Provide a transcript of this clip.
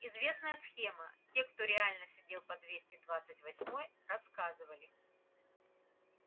известная схема те кто реально сидел по двести двадцать восьмой рассказывали